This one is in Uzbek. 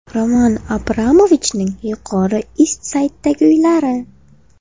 Roman Abramovichning Yuqori Ist-Sayddagi uylari.